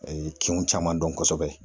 kinw caman dɔn kosɛbɛ